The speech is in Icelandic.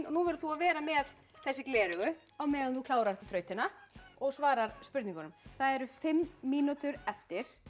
nú verður þú að vera með þessi gleraugu á meðan þú klárar þrautina og svarar spurningunum það eru fimm mínútur eftir